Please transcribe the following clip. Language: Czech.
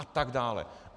A tak dále.